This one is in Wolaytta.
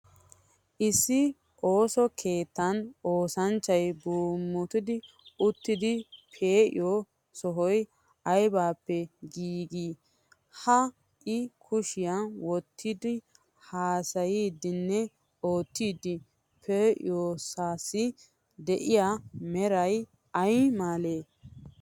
Issi ooso kettan oosanchchay bmuttidi oottiiddi pee'iyioo sohoy aybippe giigidee? Ha I kushiya wottidi haasayiiddinne oottiiddi pee'iyoosaassi de'iyaa meray ay malee?